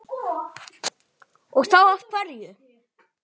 Og þá af hverju?